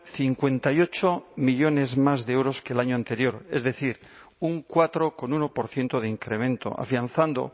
cincuenta y ocho millónes más de euros que el año anterior es decir un cuatro coma uno por ciento de incremento afianzando